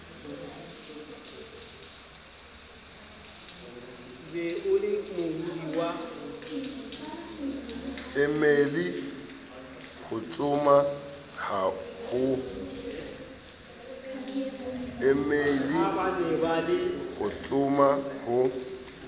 e meile ho tsoma ho